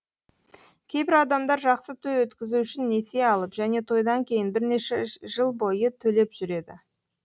кейбір адамдар жақсы той өткізу үшін несие алып және тойдан кейін бірнеше жыл бойы төлеп жүреді